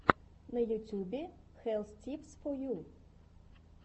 на ютюбе хэлс типс фо ю